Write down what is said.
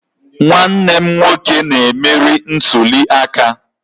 Nwanne m nwoke na-emeri ntuli aka